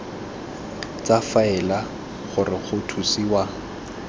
tsa faele gore go thusiwe